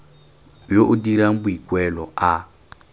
yo o dirang boikuelo a